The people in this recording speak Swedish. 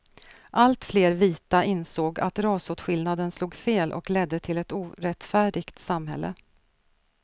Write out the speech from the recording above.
Alltfler vita insåg att rasåtskillnaden slog fel och ledde till ett orättfärdigt samhälle.